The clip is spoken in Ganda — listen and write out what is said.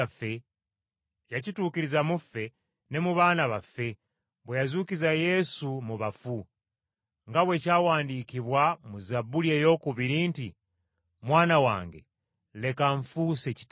yakituukiriza mu ffe ne mu baana baffe, bwe yazuukiza Yesu mu bafu. Nga bwe kyawandiikibwa mu Zabbuli eyookubiri nti, “ ‘Mwana wange, leero nfuuse Kitaawo.’